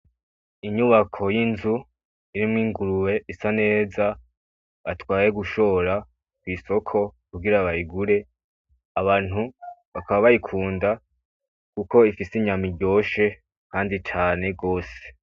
Inyubako y'inzu irimwo ingurube. Isa neza bayitwaye kuyishora kwisoko kugura bayigure. Abantu bakaba bayikunze kuko ifise inyama iryoshe kandi cane gose.